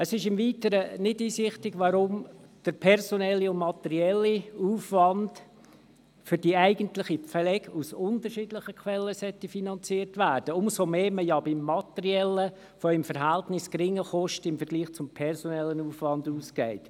Es ist im Weiteren nicht einsichtig, weshalb der personelle und der materielle Aufwand für die eigentliche Pflege aus unterschiedlichen Quellen finanziert werden sollen – umso weniger, da man beim materiellen Aufwand im Vergleich zum personellen Aufwand von geringen Kosten ausgeht.